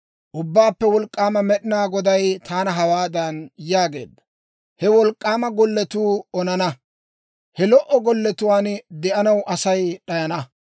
Ubbaappe Wolk'k'aama Med'inaa Goday taana hawaadan yaageedda; «He wolk'k'aama golletuu onana; he lo"o golletuwaan de'anaw Asay d'ayana.